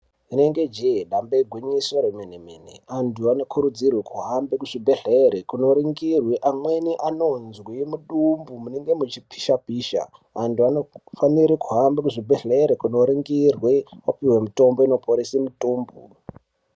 Inenge jehe damba igwinyiso remene mene antu anokurudzirwa kuhambe kuzvibhedhleri kunoringirwe amweni anonzwe mudumbu munenge muchipisha pisha, antu anofanire kuhamba muzvibhedhleri kunoringirwe vapiwe mutombo inoporese mitombo.